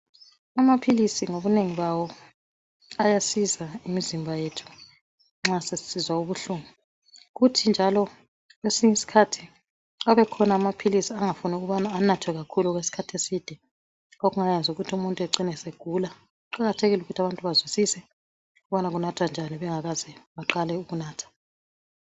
Amaphilisi ngobunengi bawo ayasiza imizimba yethu nxa sesisizwa ubuhlungu kuthi njalo kwesinye isikhathi abekhona amaphilisi angafuni ukubana anathwe kakhulu okwesikhathi eside okungayenza ukuthi umuntu acine segula kuqakathekile ukuthi abantu bazwisise ukubana kunathwa njani bengakaze baqale ukunatha